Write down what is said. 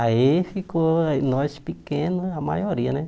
Aí ficou aí nós pequenos, a maioria, né?